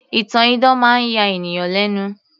ìtàn idán máa ń ya ènìyàn lẹ́nu